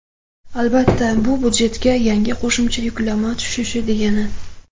Albatta, bu budjetga yana qo‘shimcha yuklama tushishi degani.